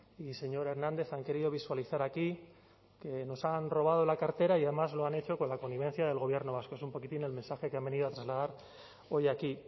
y señor hernández han querido visualizar aquí que nos han robado la cartera y además lo han hecho con la connivencia del gobierno vasco es un poquitín el mensaje que han venido a trasladar hoy aquí